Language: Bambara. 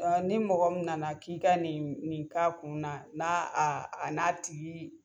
ni mɔgɔ min nana k'i ka nin nin k'a kunna n'a a a n'a tigi